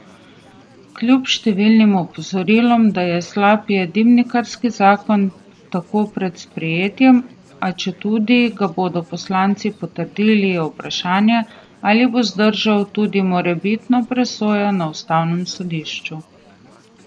Kljub številnim opozorilom, da je slab, je dimnikarski zakon tako pred sprejetjem, a četudi ga bodo poslanci potrdili, je vprašanje, ali bo zdržal tudi morebitno presojo na ustavnem sodišču.